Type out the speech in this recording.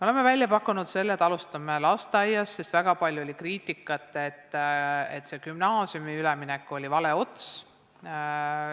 Oleme välja pakkunud ka selle, et alustame lasteaiast, sest väga palju oli kriitikat, et see gümnaasiumi üleminek oli vale ots.